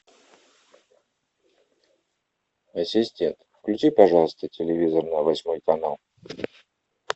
ассистент включи пожалуйста телевизор на восьмой канал